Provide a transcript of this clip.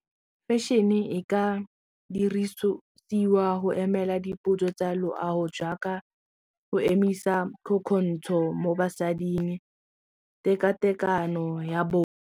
Fashion-e e ka dirisiwa go emela dipotso tsa loago jaaka go emisa mo basading tekatekano ya bong.